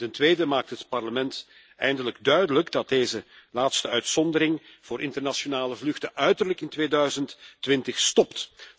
En ten tweede maakt het Parlement eindelijk duidelijk dat deze laatste uitzondering voor internationale vluchten uiterlijk in 2020 stopt.